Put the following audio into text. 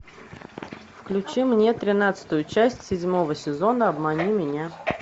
включи мне тринадцатую часть седьмого сезона обмани меня